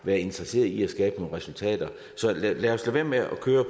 været interesseret i at skabe nogle resultater så lad os lade være med at køre